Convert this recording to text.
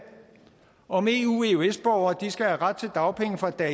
om hvorvidt eu eøs borgere skal have ret til dagpenge fra dag